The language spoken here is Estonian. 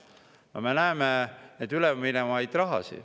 No me näeme seda üleminevat raha.